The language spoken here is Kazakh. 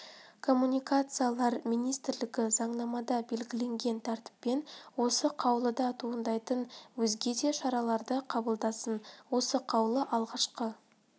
коммуникациялар министрлігі заңнамада белгіленген тәртіппен осы қаулыдан туындайтын өзге де шараларды қабылдасын осы қаулы алғашқы